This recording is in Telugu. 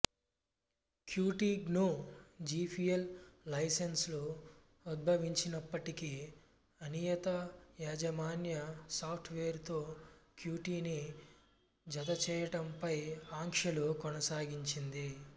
క్యూటీ గ్నూ జిపియల్ లైసెన్సు ఉద్భవించినప్పటికీ అనియత యాజమాన్య సాఫ్టువేరుతో క్యూటీని జతచేయుట పై ఆంక్షలు కొనసాగించింది